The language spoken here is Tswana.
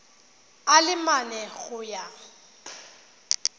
a le mane go ya